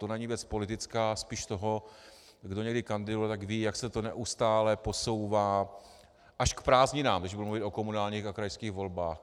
To není věc politická, spíš toho - kdo někdy kandidoval, tak ví, jak se to neustále posouvá až k prázdninám, když budu mluvit o komunálních a krajských volbách.